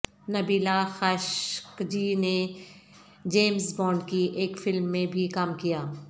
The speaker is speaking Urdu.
نبیلہ خاشقجی نے جیمز بانڈ کی ایک فلم میں بھی کام کیا